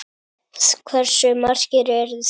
Hversu margir eru þeir?